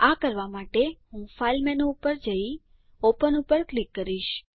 આ કરવા માટે હું ફાઈલ મેનુ પર જઈ ઓપન પર ક્લિક કરીશ